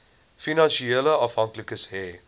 finansiële afhanklikes hê